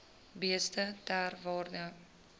beeste ter waarde